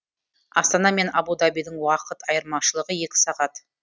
астана мен абу дабидің уақыт айырмашылығы екі сағат